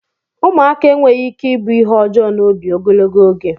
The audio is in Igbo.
Ụmụaka enweghị ike ịbụ ihe ọjọọ n'obi ogologo oge